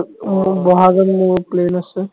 মোৰো বহাগত মোৰো plan আছে